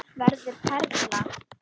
Verður perla.